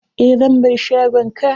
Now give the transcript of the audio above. Eh, zan bar shagon ka.